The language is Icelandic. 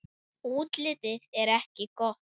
Útlitið er ekki gott.